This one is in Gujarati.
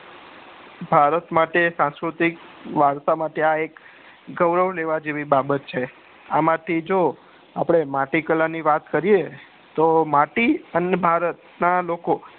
ભારત માટે સંસ્કૃતિક વારસા માટે આ એક ગોરવ લેવા જેવી આ એક બાબત છે આમાં થી જો આપડે માટી કળા ની વાત કરીએ તો માટી અને ભારત ના લોકો